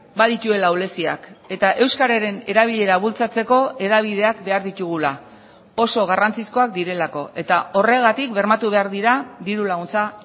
badituela ahuleziak eta euskararen erabilera bultzatzeko hedabideak behar ditugula oso garrantzizkoak direlako eta horregatik bermatu behar dira diru laguntza